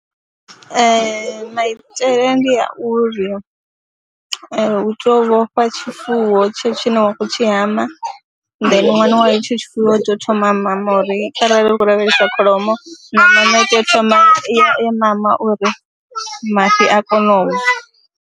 Ee, maitele ndi a uri u tea u vhofha tshifuwo tshetsho tshine wa khou tshi hama then ṅwana wa hetsho tshifuwo u tea u thoma mama uri kharali ri khou lavhelesa kholomo nahone u tea u thoma ya mama uri mafhi a kone u bva.